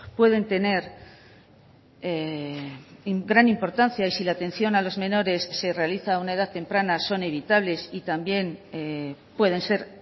pueden tener gran importancia y si la atención a los menores se realiza a una edad temprana son evitables y también pueden ser